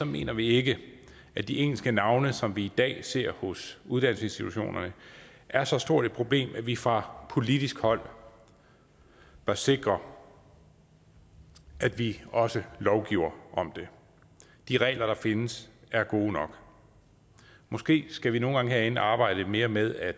mener vi ikke at de engelske navne som vi i dag ser hos uddannelsesinstitutionerne er så stort et problem at vi fra politisk hold bør sikre at vi også lovgiver om det de regler der findes er gode nok måske skal vi nogle gange herinde arbejde lidt mere med at